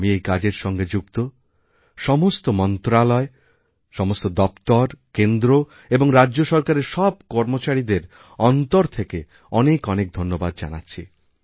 আমি এই কাজেরসঙ্গে যুক্ত সমস্ত মন্ত্রক সমস্ত দপ্তর কেন্দ্র এবং রাজ্য সরকারের সবকর্মচারীদের অন্তর থেকে অনেক অনেক ধন্যবাদ জানাচ্ছি